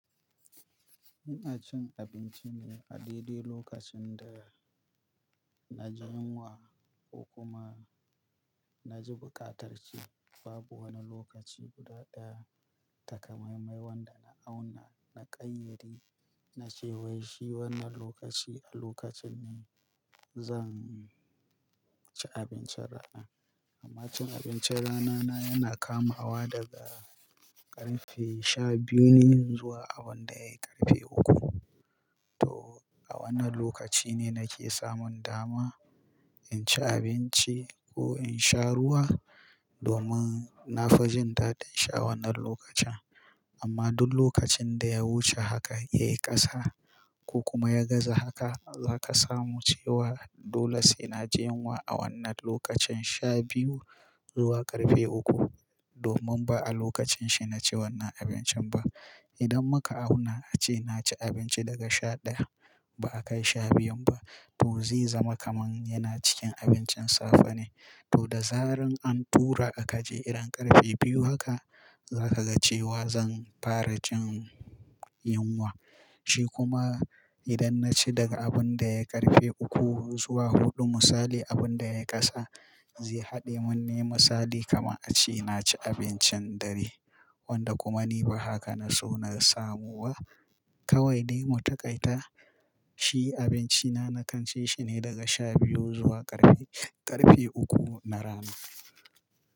Ina cin abinci ne a daidai lokacin da na ji yunwa ko kuma na ji buƙatar ci. Babu wani lokaci guda ɗaya takamammai wanda na auna na ƙayyade na ce wai shi wannan lokaci a lokacin ne zan ci abincin rana. Amma cin abincin rana na yana kamawa daga ƙarfe sha biyu ne zuwa abin da ya yi ƙarfe uku. To a wannan lokaci ne nake samun dama in ci abinci ko in sha ruwa domin na fi jin daɗin sha wannan lokacin. Amma duk lokacin da ya wuce haka yayi ƙasa ko kuma ya gaza haka, za ka samu cewa dole sai na ji yunwa a wannan lokacin sha biyu zuwa ƙarfe uku domin ba a lokacin shi na ci wannan abincin ba. Idan muka auna ace na ci abinci daga sha ɗaya ba a kai sha biyun ba to zai zama kaman yana cikin abincin safe ne. To da zaran an tura a kaje idan ƙarfe biyu haka za ka ga cewa zan fara jin yunwa. Shi kuma idan na ci daga abin da ya yi ƙarfe uku zuwa huɗu misali abin da ya ƙasa zai haɗe mun nema misali kamar ace na ci abincin dare wanda kuma ni ba haka na so na samu ba. Kawai dai mu taƙaita shi abinci na na kan ci shi ne daga sha biyu zuwa ƙarfe, ƙarfe uku na rana.